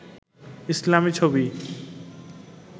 ইসলামি ছবি